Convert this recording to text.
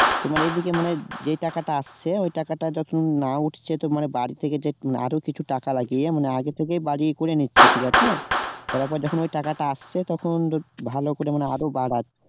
তোমার এই দিকে মানে যেই টাকাটা আসছে ওই টাকাটা যতক্ষণ না উঠছে তবে মানে বাড়ি থেকে যে আরো কিছু টাকা লাগিয়ে মানে আগে থেকেই বাড়ি করে নিচ্ছে ঠিক আছে